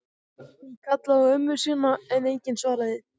Hann kallaði á ömmu sína en enginn svaraði.